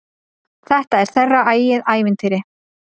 Þetta er þeirra eigið ævintýr.